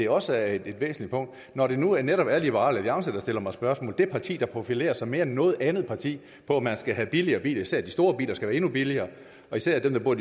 også er et væsentligt punkt når det nu netop er liberal alliance der stiller mig spørgsmål det parti der profilerer sig mere end noget andet parti på at man skal have billigere biler især skal de store biler være endnu billigere og især dem der bor